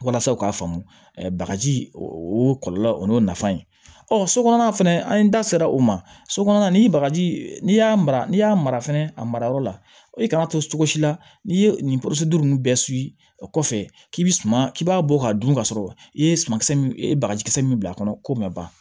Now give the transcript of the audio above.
Walasa u k'a faamu bagaji o kɔlɔlɔ o n'o nafa ye ɔ sokɔnɔna fɛnɛ an da sera o ma so kɔnɔna ni bagaji n'i y'a mara n'i y'a mara fɛnɛ a mara yɔrɔ la i kan ka to cogo si la n'i ye nin nunnu bɛɛ o kɔfɛ k'i bi suman k'i b'a bɔ k'a dun k'a sɔrɔ i ye suman kisɛ min i ye bagaji kisɛ min bila a kɔnɔ k'o ma ban